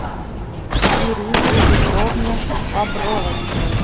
ирине петровне бобровой